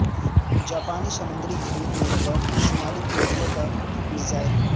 جاپانی سمندری حدود میں گرا شمالی کوریا کا میزائل